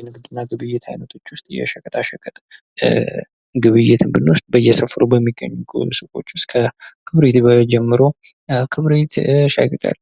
የንግድና ግብይት አይነቶች ውስጥ የሸቀጣሸቀጥ ግብይትን ብንወስድ በየሰፈሩ በሚገኙት ውስጥ ከከብሪት ጀምሮ ከብሪት፣ ሻይቅጠል፣